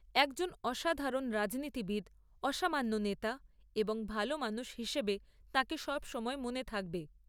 একজন অসাধারণ রাজনীতিবিদ, অসামান্য নেতা এবং ভালো মানুষ হিসেবে তাঁকে সবসময় মনে থাকবে।